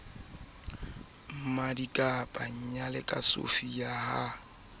se na tshitiso palong ya